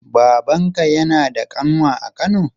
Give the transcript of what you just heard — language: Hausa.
Babanka yana da ƙanwa a kano?